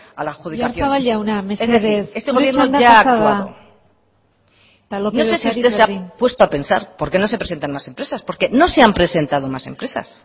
a la adjudicación oyarzabal jauna mesedez zure txanda pasa da eta lópez de ocariz berdin es decir este gobierno ya ha actuado no sé si usted se puesto a pensar por qué no se presenta más empresas porque no se han presentado más empresas